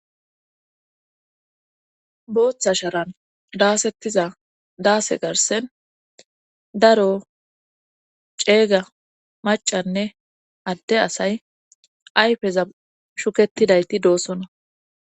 booththa sharan daasettiza daase garsen daro ceega macanne adde asay ayfeza shuketidayti doosona